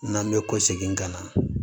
N'an bɛ ko segin ka na